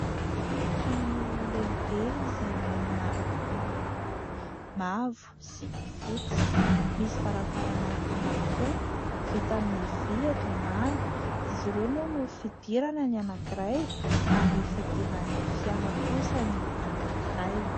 Trano lehibe izay manana loko miloko mavo sy fotsy. Misy varavarana anankiroa vita amin'ny vỳ eto ambany. Izy ireo moa no fidirana ny anankiray ary fidiran'ny fiara kosa ny anankiray.